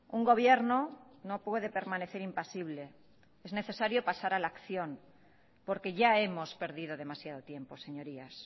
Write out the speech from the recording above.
un gobierno no puede permanecer impasible es necesario pasar a la acción porque ya hemos perdido demasiado tiempo señorías